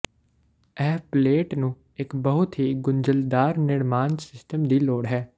ਇਹ ਪਲੇਟ ਨੂੰ ਇੱਕ ਬਹੁਤ ਹੀ ਗੁੰਝਲਦਾਰ ਨਿਰਮਾਣ ਸਿਸਟਮ ਦੀ ਲੋੜ ਹੈ